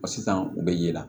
Wa sisan u bɛ yela